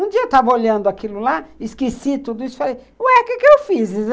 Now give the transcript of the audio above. Um dia eu estava olhando aquilo lá, esqueci tudo isso e falei, ué, o que eu fiz?